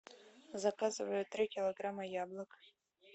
заказывай три килограмма яблок